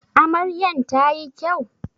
Amaryan ta yi kyau?